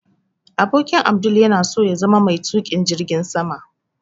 Abokin Abdul yana so ya zama mai tukin jirgin sama